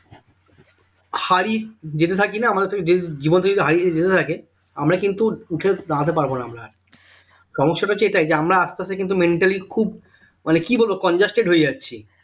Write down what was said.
হারি যেতে থাকি না আমাদের থেকে জীবন থেকে যদি হারিয়ে যেতে থাকে আমরা কিন্তু উঠে দাঁড়াতে পারবো না আমরা সমস্যাটা হচ্ছে এটাই যে আমরা আস্তে আস্তে কিন্তু mentally খুব মানে কি বলবো congested হয়ে যাচ্ছি